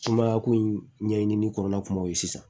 Sumaya ko in ɲɛɲini ni kɔlɔlɔ kumaw ye sisan